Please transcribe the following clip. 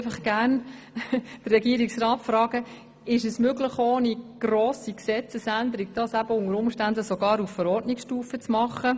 Ich möchte den Regierungsrat gerne fragen, ob eine Umsetzung unter Umständen ohne eine Gesetzesänderung auf Verordnungsstufe möglich wäre.